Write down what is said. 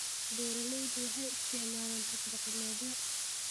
Beeraleydu waxay isticmaalaan hab-dhaqameedyo.